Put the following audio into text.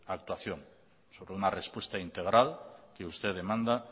actuación sobre una respuesta integral que usted demanda